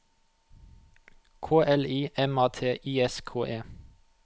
K L I M A T I S K E